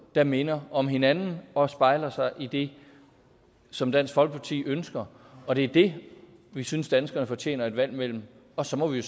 der minder om hinanden og spejler sig i det som dansk folkeparti ønsker og det er det vi synes danskerne fortjener et valg imellem og så må vi